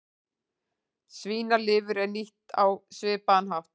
Svínalifur er nýtt á svipaðan hátt.